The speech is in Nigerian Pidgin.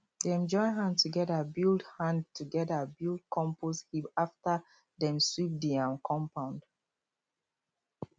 dem join hand together build hand together build compost heap after dem sweep the um compound